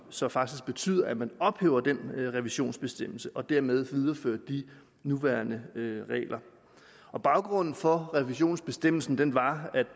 som faktisk betyder at man ophæver revisionsbestemmelsen og dermed viderefører de nuværende regler baggrunden for revisionsbestemmelsen var